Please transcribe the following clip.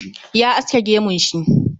Ya aske gemun shi